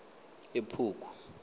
ephugu